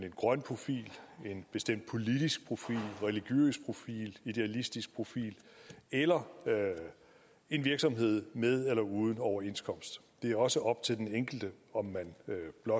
en grøn profil en bestemt politisk profil religiøs profil idealistisk profil eller en virksomhed med eller uden overenskomst det er også op til den enkelte om man blot